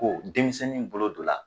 Ko denmisɛnnin bolo don la